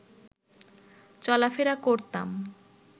চলাফেরা করতাম